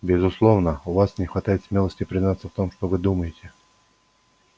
безусловно у вас не хватает смелости признаться в том что вы думаете